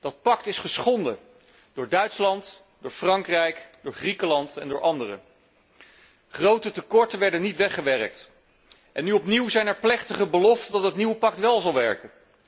Dat pact is geschonden door Duitsland, Frankrijk, Griekenland en anderen. Grote tekorten werden niet weggewerkt. En nu opnieuw zijn er plechtige beloften dat het nieuwe pact wel zal werken.